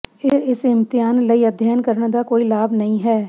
ਇਹ ਇਸ ਇਮਤਿਹਾਨ ਲਈ ਅਧਿਐਨ ਕਰਨ ਦਾ ਕੋਈ ਲਾਭ ਨਹੀਂ ਹੈ